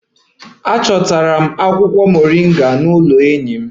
Achọtara m akwụkwọ moringa n'ụlọ enyi m